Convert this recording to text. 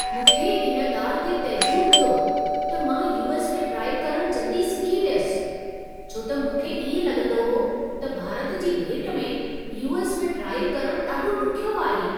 मूंखे इन ॻाल्हि ते तइजुब थियो त मां यू.एस. में ड्राइव करण जल्दी सिखी वियुसि, छो त मूंखे इएं लॻंदो हो, त भारत जी भेट में यू.एस. में ड्राइव करण ॾाढो ॾुखियो आहे।